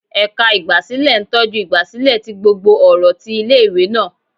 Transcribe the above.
Ẹka igbasilẹ ntọju igbasilẹ ti gbógbó ọrọ tí ìlé-ìwé náá